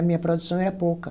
A minha produção era pouca.